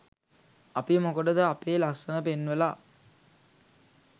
අපි මොකටද අපේ ලස්‌සන පෙන්වලා